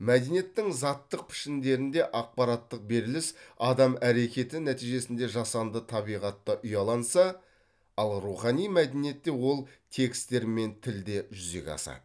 мәдениеттің заттық пішіндерінде ақпараттық беріліс адам әрекеті нәтижесінде жасанды табиғатта ұяланса ал рухани мәдениетте ол текстер мен тілде жүзеге асады